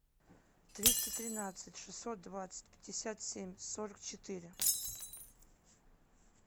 триста тринадцать шестьсот двадцать пятьдесят семь сорок четыре